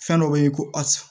Fɛn dɔ be yen ko asi